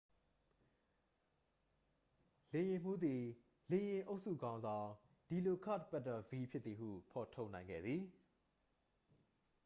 လေယာဉ်မှူးသည် လေယာဉ်အုပ်စုခေါင်းဆောင် ဒီလိုကာ့တ်ပက်တာဗီး ဖြစ်သည်ဟု ဖော်ထုတ်နိုင်ခဲ့သည်